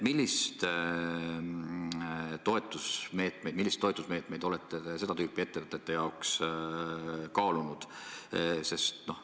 Milliseid toetusmeetmeid olete te seda tüüpi ettevõtete jaoks kaalunud?